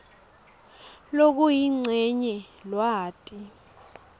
lokuyincenye lwati